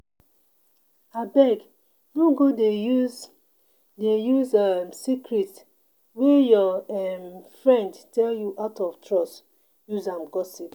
Abeg no go dey use dey use um secret wey your um friend tell you out of trust use um gossip.